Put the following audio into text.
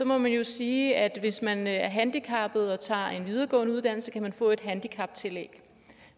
må man jo sige at hvis man er handicappet og tager en videregående uddannelse kan man få et handicaptillæg